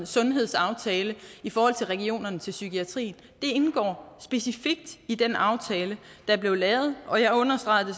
sundhedsaftale i forhold til regionerne til psykiatrien det indgår specifikt i den aftale der blev lavet og jeg understregede det